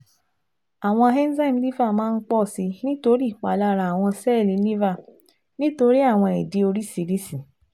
Awọn enzyme Liver maa n pọ si nitori ipalara awọn sẹẹli Liver nitori awọn idi oriṣiriṣi